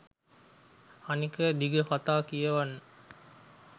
අනෙක දිග කතා කියවන්න